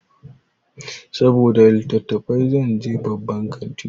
Saboda littatafai zan je babban kantin.